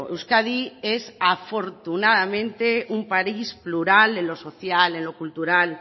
euskadi es afortunadamente un país plural en lo social en lo cultural